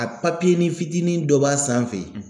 A papiyenin fitinin dɔ b'a sanfɛ.